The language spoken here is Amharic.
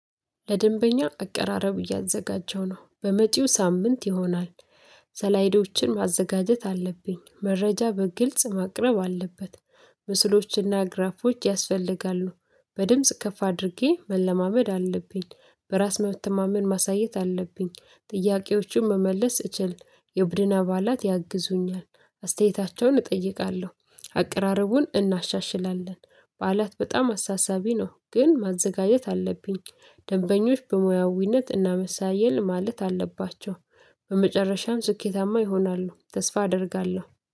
ለደንበኛ አቀራረብ እያዘጋጀሁ ነው በመጪው ሳምንት ይሆናል ሰላይዶችን ማዘጋጀት አለብኝ መረጃ በግልጽ ማቅረብ አለበት ምስሎችና ግራፎች ያስፈልጋሉ፤ በድምጽ ከፍ አድርጌ መለማመድ አለብኝ፤ በራስ መተማመን ማሳየት አለብኝ፤ ጥያቄዎችን መመለስ እችል የቡድን አባላት ያግዙኛል፤ አስተያየታቸውን እጠይቃለሁ። አቅራረቡን እናሻሽላለን በዓላት በጣም አሳሳቢ ነው ግን ማዘጋጀት አለብኝ ደንበኞች በሙያዊነት እና መሳየል ማለት አለባቸው በመጨረሻም ስኬታማ ይሆናሉ ተስፋ አደርጋለሁ።